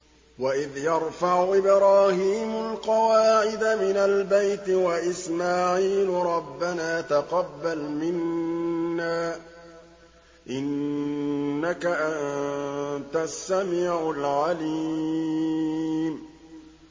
وَإِذْ يَرْفَعُ إِبْرَاهِيمُ الْقَوَاعِدَ مِنَ الْبَيْتِ وَإِسْمَاعِيلُ رَبَّنَا تَقَبَّلْ مِنَّا ۖ إِنَّكَ أَنتَ السَّمِيعُ الْعَلِيمُ